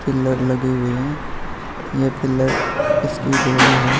Pillar लगे हुए हैं ये पिलर इसकी है।